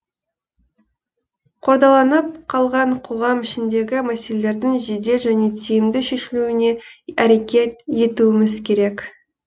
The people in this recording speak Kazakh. қордаланып қалған қоғам ішіндегі мәселелердің жедел және тиімді шешілуіне әрекет етуіміз керек